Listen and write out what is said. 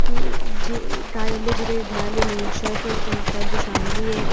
जे कार्यालय जिले विध्यालय निरीक्षक जनपद शामली है।